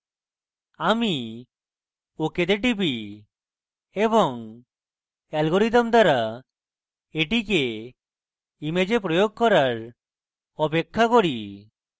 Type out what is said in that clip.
আমি ok তে টিপি এবং algorithm দ্বারা এটিকে image প্রয়োগ করার অপেক্ষা করি